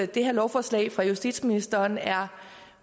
det her lovforslag fra justitsministeren er